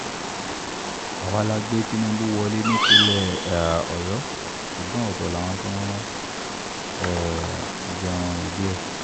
àwa la gbé tinubu wọlé nípínlẹ̀ um ọ̀yọ́ ṣùgbọ́n ọ̀tọ̀ làwọn tó um jẹun ìdí ẹ̀